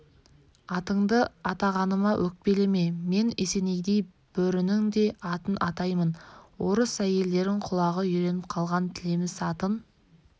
атыңды атағаныма өкпелеме мен есенейдей бөрінің де атын атаймын орыс әйелдерің құлағы үйреніп қалған тілеміс атын